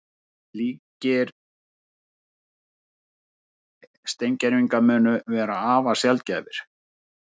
Slíkir steingervingar munu vera afar sjaldgæfir